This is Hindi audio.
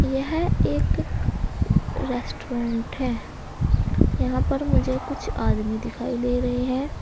यह एक रेस्टोरेंट है यहां पर मुझे कुछ आदमी दिखाई दे रहे हैं।